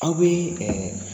Aw be